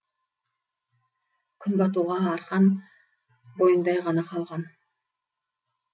күн батуға арқан бойындай ғана қалған